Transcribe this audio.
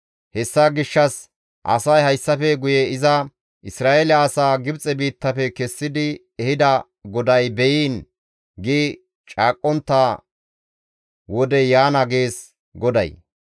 Hessa gishshas asay hayssafe guye iza, ‹Isra7eele asaa Gibxe biittafe kessidi ehida GODAY be7iin› gi caaqqontta wodey yaana gees GODAY.